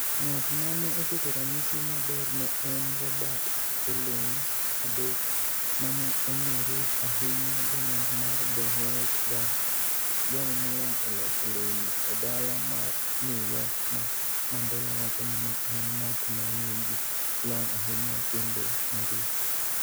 Ng'at ma ne oketo ranyisi maber ne en Robert Pauley III, ma ne ong'ere ahinya gi nying mar The Wealth Guy, jal molony e loso lewni e dala mar New York ma Mandela wacho ni ne en ng'at ma nigi lony ahinya kendo mariek.